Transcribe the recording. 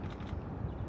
Bütün yollar.